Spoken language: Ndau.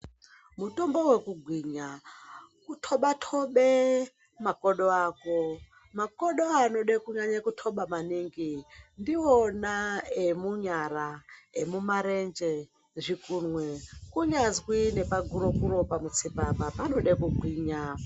Mutombo wekugwinya kutoba tobe makodo ako makodo anode kunyanya kutoba maningi ndiwona emunyara emumarenje zvikunwe kunyazwi nepaguro kuro pamutsipa apa anode kugwinya.